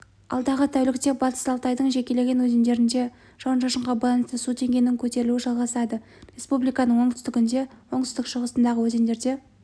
алдағы тәулікте батыс алтайдың жекелеген өзендерінде жауын-шашынға байланысты су деңгейінің көтерілуі жалғасады республиканың оңтүстігінде оңтүстік-шығысындағы өзендерде